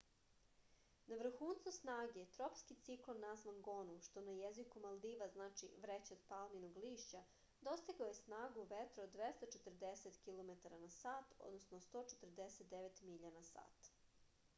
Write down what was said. на врхунцу снаге тропски циклон назван гону што на језику малдива значи врећа од палминог лишћа достигао је снагу ветра од 240 километара на сат 149 миља на сат